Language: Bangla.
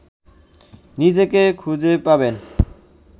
নিজেকে খুঁজে পাবেন